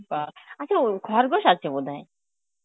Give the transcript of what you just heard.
বা আচ্ছা ও খরগোশ আছে বোধহয়?